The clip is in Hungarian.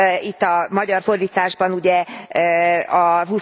Itt a magyar fordításban ugye a